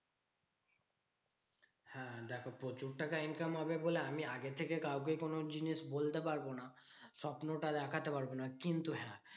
হ্যাঁ দেখো প্রচুর টাকা income হবে বলে আমি আগে থেকে কাউকে কোনো জিনিস বলতে পারবো না। স্বপ্নটা দেখতে পারবো না। কিন্তু হ্যাঁ?